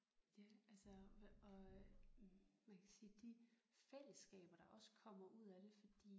Ja altså og øh man kan sige de fællesskaber der også kommer ud af det fordi